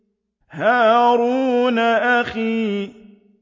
هَارُونَ أَخِي